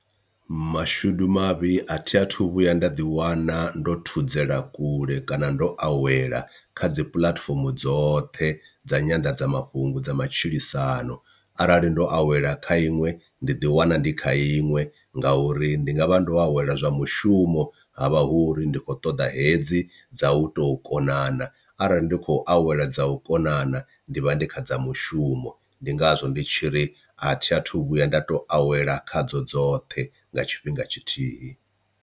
Mashudu mavhi a thi athu vhuya nda ḓi wana ndo thudzela kule kana ndo awela kha dzi puḽatifomo dzoṱhe dza nyanḓadzamafhungo dza matshilisano arali ndo awela kha iṅwe ndi ḓi wana ndi kha iṅwe ngauri ndi nga vha ndo awela zwa mushumo havha hu uri ndi khou ṱoḓa hedzi dza u tou konana, arali ndi khou awela dza u konana ndi vha ndi kha dza mushumo ndi ngazwo ndi tshiri athi athu vhuya nda to awela khadzo dzoṱhe nga tshifhinga tshithihi.